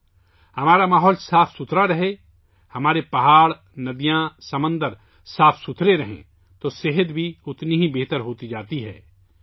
اگر ہمارا ماحول صاف ستھرا ہو، ہمارے پہاڑ اور دریا، ہمارے سمندر صاف رہیں تو ہماری صحت بھی بہتر ہوتی جاتی ہے